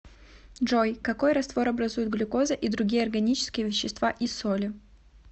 джой какой раствор образуют глюкоза и другие органические вещества и соли